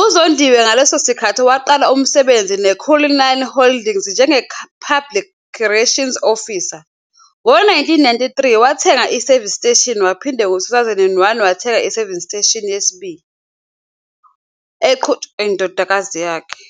uZondiwe ngaleso sikhathi waqala umsebenzi neCullinan Holdings njenge-Public Relations Officer. Ngo-1993 wathenga i-service station waphinda ngo-2001 wathenga i-service station yesibili, eqhutshwa yindodakazi yakhe.